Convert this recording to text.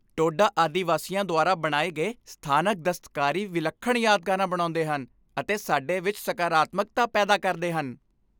ਟੋਡਾ ਆਦਿਵਾਸੀਆਂ ਦੁਆਰਾ ਬਣਾਏ ਗਏ ਸਥਾਨਕ ਦਸਤਕਾਰੀ ਵਿਲੱਖਣ ਯਾਦਗਾਰਾਂ ਬਣਾਉਂਦੇ ਹਨ ਅਤੇ ਸਾਡੇ ਵਿੱਚ ਸਕਾਰਾਤਮਕਤਾ ਪੈਦਾ ਕਰਦੇ ਹਨ।